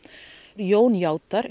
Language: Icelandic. Jón játar